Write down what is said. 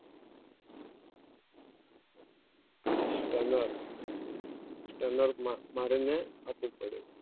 Stunner Stunner માટે મારીને આપું પડે